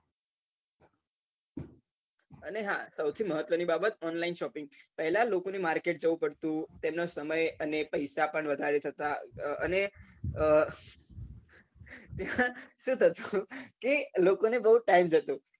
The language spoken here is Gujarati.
અને હા સૌથી મહત્વ ની બાબત online shopping પહેલા લોકો ને market જવું પડતું તેના સમય ને પૈસા પણ વધારે થતા અને કે લોકો બઉ time જતો